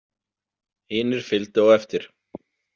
Hinir fylgdu á eftir.